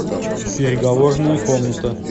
переговорная комната